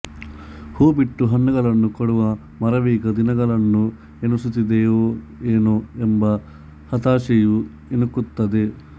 ಹೂಬಿಟ್ಟು ಹಣ್ಣುಗಳನ್ನು ಕೊಡುವ ಮರವೀಗ ದಿನಗಳನ್ನು ಎಣಿಸುತ್ತಿದೆಯೇನೋ ಎಂಬ ಹತಾಶೆಯೂ ಇಣುಕುತ್ತದೆ